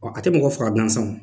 A tɛ mɔgɔ faga gansan